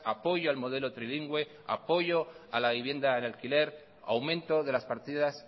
apoyo al modelo trilingüe apoyo a la vivienda en alquiler aumento de las partidas